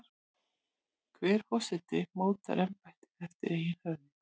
Hver forseti mótar embættið eftir eigin höfði.